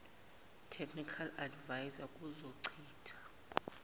technical adviser kuzochitha